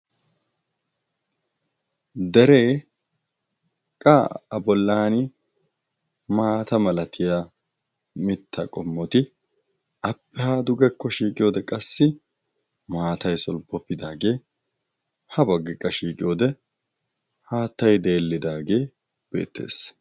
Deree qa a bollani maata malatiya mitta qommoti appehaadugekko shiiqiyoode qassi maatay solppoppidaagee ha baggiqqa shiiqiyoode haattay deellidaagee beettees.